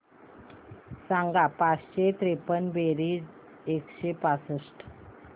सांग पाचशे त्रेपन्न बेरीज एकशे पासष्ट